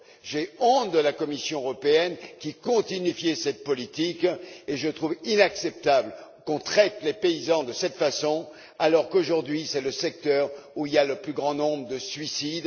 J'ai honte de la Commission européenne qui continue à justifier cette politique et je trouve inacceptable qu'on traite les paysans de cette façon alors, qu'aujourd'hui, c'est le secteur où il y a le plus grand nombre de suicides.